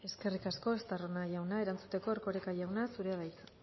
eskerrik asko estarrona jauna erantzuteko erkoreka jauna zurea da hitza